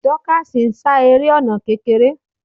Dorcas ń sá eré ọ̀nà kékeré.